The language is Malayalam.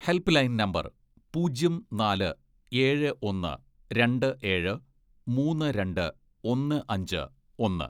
ഹെൽപ്പ് ലൈൻ നമ്പർ പൂജ്യം, നാല്, ഏഴ്, ഒന്ന്, രണ്ട്, ഏഴ്, മൂന്ന്, രണ്ട്, ഒന്ന്, അഞ്ച്, ഒന്ന്